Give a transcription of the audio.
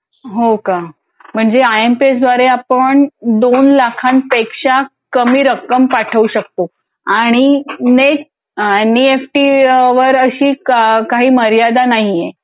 .हो का? म्हणजे आय एम पी एस द्वारे आपण दोन लाखापेक्षा कमी रक्कम पाठवू शकतो. आणि नेट एनईएफटी वर अशी काही मर्यादा नाही आहे.